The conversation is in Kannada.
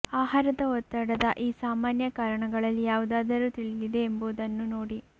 ಆಹಾರದ ಒತ್ತಡದ ಈ ಸಾಮಾನ್ಯ ಕಾರಣಗಳಲ್ಲಿ ಯಾವುದಾದರೂ ತಿಳಿದಿದೆ ಎಂಬುವುದನ್ನು ನೋಡಿ